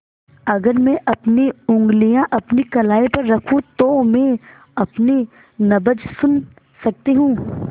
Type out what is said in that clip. अगर मैं अपनी उंगलियाँ अपनी कलाई पर रखूँ तो मैं अपनी नब्ज़ सुन सकती हूँ